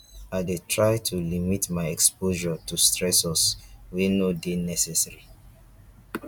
i dey try to limit my exposure to stressors wey no dey necessary